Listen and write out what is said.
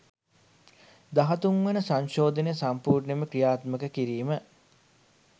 දහතුන් වන සංශෝධනය සම්පූර්ණයෙන් ක්‍රියාත්මක කිරීම